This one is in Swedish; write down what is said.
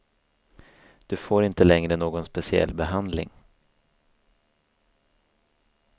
Du får inte längre någon speciell behandling.